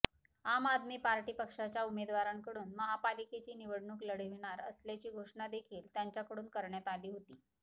आम आदमी पार्टीपक्षाच्या उमेदवारांकडून महापालिकेची निवडणूक लढविणार असल्याची घोषणा देखील त्यांच्याकडून करण्यात आली होती